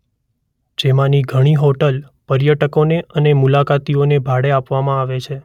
જેમાંની ઘણી હોટલ પર્યટકોને અને મુલાકાતીઓને ભાડે આપવામાં આવે છે.